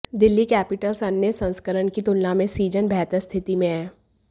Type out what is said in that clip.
Delhi Capitals अन्य संस्करण की तुलना में इस सीजन बेहतर स्थिति में है